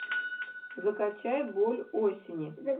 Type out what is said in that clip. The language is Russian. закачай боль осени